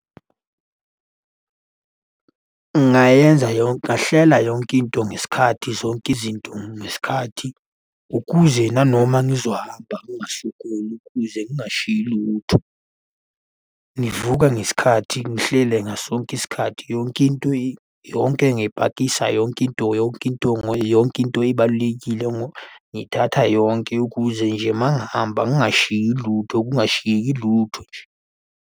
Ngingayenza ngingahlela yonke into ngesikhathi zonke izinto ngesikhathi ukuze nanoma ngizohamba ngingasokoli ukuze ngingashiyi lutho. Ngivuka ngesikhathi, ngihlele ngaso sonke isikhathi yonke into yonke, ngiyayipakisha yonke into yonke into yonke into ibalulekile. Ngiyithatha yonke ukuze nje uma ngihamba ngingashiyi lutho, kungashiyeki lutho nje.